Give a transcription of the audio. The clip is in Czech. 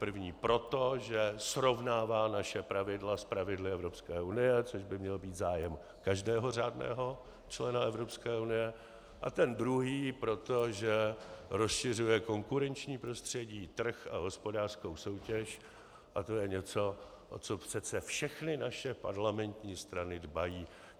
První proto, že srovnává naše pravidla s pravidly Evropské unie, což by měl být zájem každého řádného člena Evropské unie, a ten druhý proto, že rozšiřuje konkurenční prostředí, trh a hospodářskou soutěž, a to je něco, o co přece všechny naše parlamentní strany dbají.